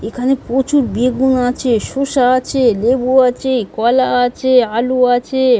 এখানে প্রচুর বেগুন আছে শসা আছে লেবু আছে কলা আছে আলু আছে।